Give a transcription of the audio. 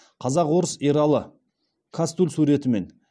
қазақ орыс ералы кастуль суретімен